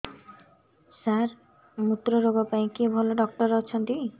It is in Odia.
ସାର ମୁତ୍ରରୋଗ ପାଇଁ କିଏ ଭଲ ଡକ୍ଟର ଅଛନ୍ତି